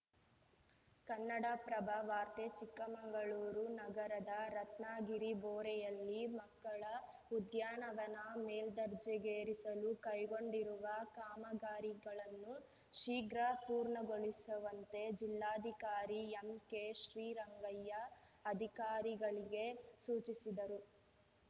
ಕನ್ನಡಪ್ರಭ ವಾರ್ತೆ ಚಿಕ್ಕಮಗಳೂರು ನಗರದ ರತ್ನಗಿರಿಬೋರೆಯಲ್ಲಿ ಮಕ್ಕಳ ಉದ್ಯಾನವನ ಮೇಲ್ದರ್ಜೆಗೇರಿಸಲು ಕೈಗೊಂಡಿರುವ ಕಾಮಗಾರಿಗಳನ್ನು ಶೀಘ್ರ ಪೂರ್ಣಗೊಳಿಸುವಂತೆ ಜಿಲ್ಲಾಧಿಕಾರಿ ಎಂಕೆಶ್ರೀರಂಗಯ್ಯ ಅಧಿಕಾರಿಗಳಿಗೆ ಸೂಚಿಸಿದರು